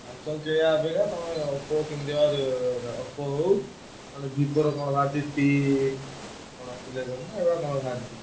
Samsung କିଣିବା ଅପେକ୍ଷା ତମେ Oppo କିଣିଦିଅ Oppo ହଉ ନହେଲେ Vivo ର କଣ ବାହାରିଚି କଣ ଟି~ T eleven ନା କଣ ଏଇଟା ବାହାରିଚି।